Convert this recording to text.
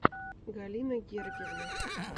галина гергивна